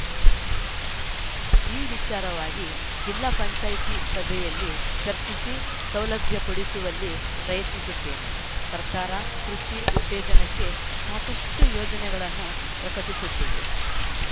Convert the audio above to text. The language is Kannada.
ಈ ವಿಚಾರವಾಗಿ ಜಿಲ್ಲಾ ಪಂಚಾಯಿತಿ ಸಭೆಯಲ್ಲಿ ಚರ್ಚಿಸಿ ಸೌಲಭ್ಯ ಕೊಡಿಸುವಲ್ಲಿ ಪ್ರಯತ್ನಿಸುತ್ತೇನೆ ಸರ್ಕಾರ ಕೃಷಿ ಉತ್ತೇಜನಕ್ಕೆ ಸಾಕಷ್ಟುಯೋಜನೆಗಳನ್ನು ಪ್ರಕಟಿಸುತ್ತಿದೆ